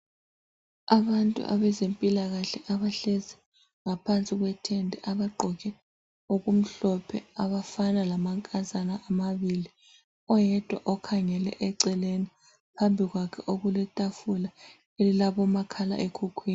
Abantu abezempilakahle abahlezi ngaphansi kwetende abagqoke okumhlophe. Abafana lamankazana amabili. Oyedwa ukhangele eceleni. Phambi kwakhe okuletafula elilabo makhala ekhukhwini.